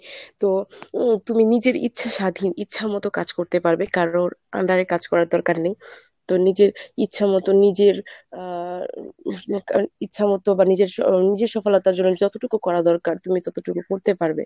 তো উম তুমি নিজের ইচ্ছা স্বাধীন ইচ্ছা মতো কাজ করতে পারবে কারোর under এ কাজ করার দরকার নেই তো নিজের ইচ্ছামতো নিজের আ ইচ্ছামতো বা নিজের সফলতার জন্য যতটুকু করা দরকার তুমি ততটুকু পড়তে পারবে।